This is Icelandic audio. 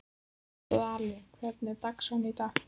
Dalía, hvernig er dagskráin í dag?